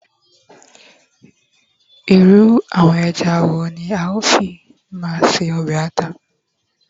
irú àwọn eja wo ni a o fi ma se obe ata